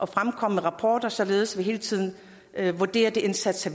fremkommer med rapporter således at man hele tiden kan vurdere de indsatser